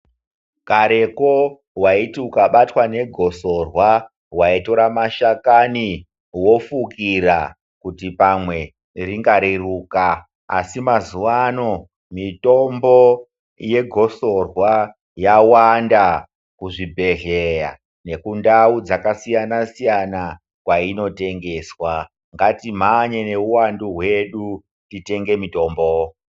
Kare ko waiti ukabatwa negosorwa waitora mashakani wofukira kuti pamwe ringareruka asi mazuwa ano mitombo yegosorwa yawanda kuzvibhehleya nekundau dzakasiyanasiyana kwainotengeswa ngatimhanye nehuwandu hwedu titenge mitombo.